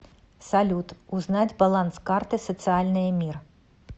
салют узнать баланс карты социальная мир